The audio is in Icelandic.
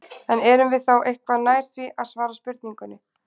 En erum við þá eitthvað nær því að svara spurningunni?